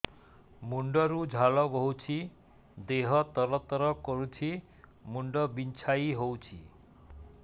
ମୁଣ୍ଡ ରୁ ଝାଳ ବହୁଛି ଦେହ ତର ତର କରୁଛି ମୁଣ୍ଡ ବିଞ୍ଛାଇ ହଉଛି